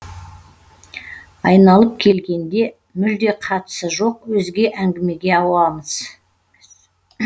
айналып келгенде мүлде қатысы жоқ өзге әңгімеге ауамыз